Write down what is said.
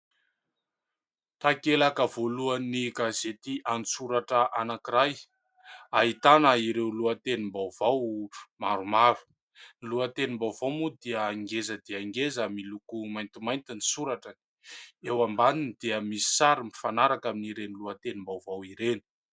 Takelaka voalohany gazety an-tsoratra anankiray ahitana ireo lohatenim-baovao maromaro. Ny lohatenim-baovao moa dia ngeza dia ngeza miloko maintimainty ny soratra ; eo ambaniny dia misy sary mifanaraka amin'ireny lohatenim-baovao ireny.